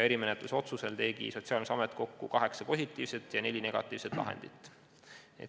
Erimenetluse otsusel tegi Sotsiaalkindlustusamet kokku kaheksa positiivset ja neli negatiivset lahendit.